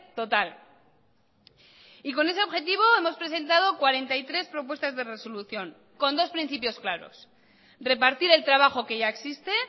total y con ese objetivo hemos presentado cuarenta y tres propuestas de resolución con dos principios claros repartir el trabajo que ya existe